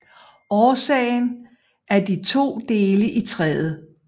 Årsagen er de to dele i træet